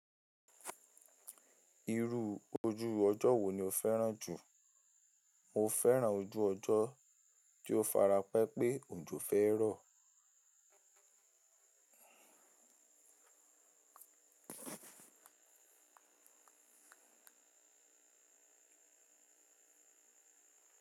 Irú ojú ọjọ́ wo ni o fẹ́ràn jù? Mo fẹ́ràn ojú ọjọ́ tí ó fara pẹ́ pé òjò fẹ́ rọ̀.